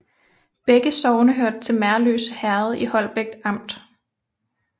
Begge sogne hørte til Merløse Herred i Holbæk Amt